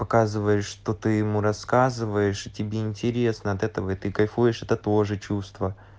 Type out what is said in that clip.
показываешь что ты ему рассказываешь и тебе интересно от этого и ты кайфуешь от это тоже чувства